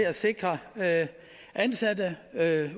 at sikre ansatte